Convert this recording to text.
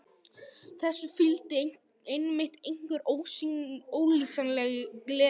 Þessu fylgdi einmitt einhver ólýsanleg gleði.